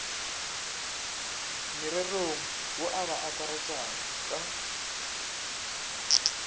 morerong wo a ba akaretšaka